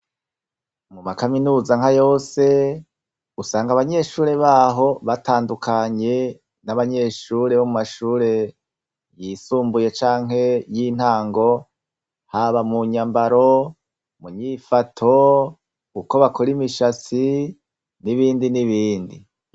Mu makaminuza nka yose usanga abanyeshure baho batandukanye n' abanyeshure bo mumashure yisumbuye canke y' intango haba munyambaro munyifato uko bakora imishatsi n' ibindi n' ibindi.